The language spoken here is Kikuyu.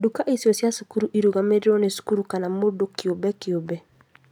Nduka icio cia cukuru irũgamagĩrĩrwo nĩ cukuru kana mũndũ kĩũmbe kiumbe